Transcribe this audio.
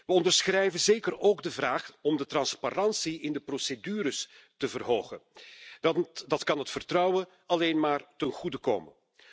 We onderschrijven zeker ook de vraag om de transparantie in de procedures te verhogen. Dat kan het vertrouwen alleen maar ten goede komen.